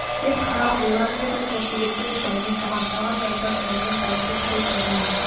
деп қиналып ойланып еді сол себепті де дәрмен бұған тағы не айтасың деген тәрізді көз айырмай